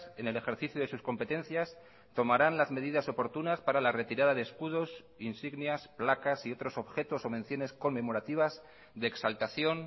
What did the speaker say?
en el ejercicio de sus competencias tomarán las medidas oportunas para la retirada de escudos insignias placas y otros objetos o menciones conmemorativas de exaltación